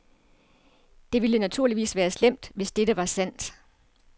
Det ville naturligvis være slemt, hvis dette var sandt.